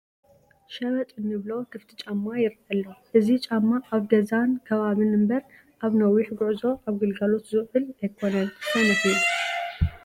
ሸበጥ እንብሎ ክፍቲ ጫማ ይርአ ኣሎ፡፡ እዚ ጫማ ኣብ ገዛን ከባብን እምበር ኣብ ነዊሕ ጉዕዞ ኣብ ግልጋሎት ዝውዕል ኣይኮነን፡፡ ሰነፍ እዩ፡፡